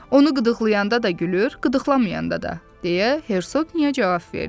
Onu qıdıqlayanda da gülür, qıdıqlamayanda da, - deyə Hersoqniya cavab verdi.